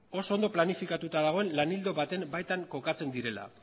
oso ondo planifikatuta dagoen lan ildo baten baita kokatzen direla